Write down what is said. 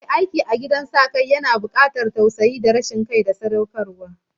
Ehh, aiki a gidajen jin kai yana bukatar tausayi da rashin son kai da sadaukarwa